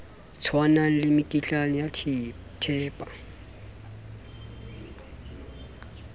tshwanang le mekitlane ya thepa